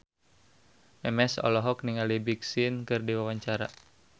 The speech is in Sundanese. Memes olohok ningali Big Sean keur diwawancara